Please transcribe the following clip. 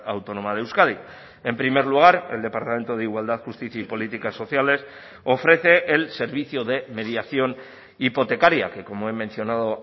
autónoma de euskadi en primer lugar el departamento de igualdad justicia y políticas sociales ofrece el servicio de mediación hipotecaria que como he mencionado